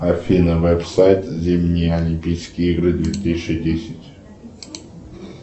афина веб сайт зимние олимпийские игры две тысячи десять